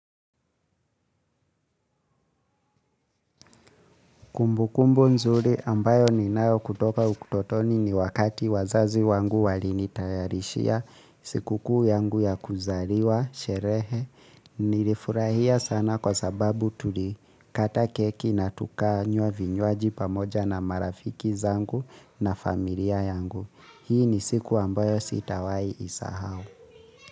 Kumbukumbu nzuri ambayo ninayo kutoka utotoni ni wakati wazazi wangu walini tayarishia sikukuu yangu ya kuzaliwa, sherehe, nilifurahia sana kwa sababu tulikata keki na tukanywa vinywaji pamoja na marafiki zangu na familia yangu. Hii ni siku ambayo sitawai isahau.